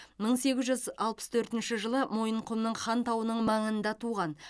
мың сегіз жүз алпыс төртінші жылы мойынқұмның хан тауының маңында туған